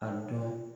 A dɔn